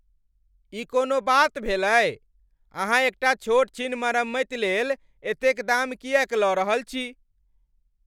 ई कोनो बात भेलै। अहाँ एकटा छोट छीन मरम्मति लेल एतेक दाम किएक लऽ रहल छी?